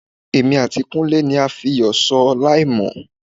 Èmi àti Kúnlé ni a fiyọ̀ sọ láìmọ̀.